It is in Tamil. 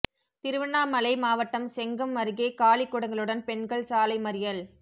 திருவண்ணாமலை மாவட்டம் செங்கம் அருகே காலிக் குடங்களுடன் பெண்கள் சாலை மறியல்